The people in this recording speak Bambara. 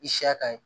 I siya ka ɲi